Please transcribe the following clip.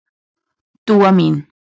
Dúa mín.